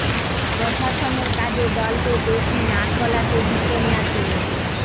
প্রশাসনের কাজে দলকে বেশি নাক গলাতে দিতেন না তিনি